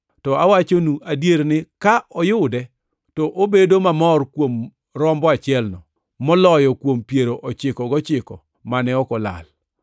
To awachonu adier ni ka oyude to obedo mamor kuom rombo achielno, moloyo kuom piero ochiko gochiko mane ok olal.